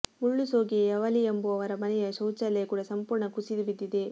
ಮುಳ್ಳುಸೋಗೆಯ ಯವಲಿ ಎಂಬುವವರ ಮನೆಯ ಶೌಚಾಲಯ ಕೂಡ ಸಂಪೂರ್ಣ ಕುಸಿದು ಬಿದ್ದಿದೆ